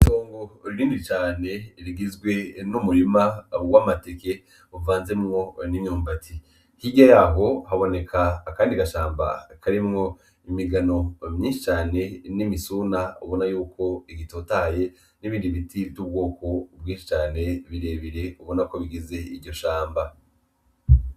Itongo rinini cane rigizwe n'umurima w'amateke uvanzemwo n'imyumbati, hirya yaho haboneka akandi gashamba karimwo imigano myinshi cane n'imisuna ubona yuko igitotaye n'ibindi biti ry'ubwoko bwinshi cane birebire ubona ko bigize iryo shamba.